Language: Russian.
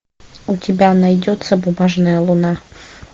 у тебя найдется бумажная луна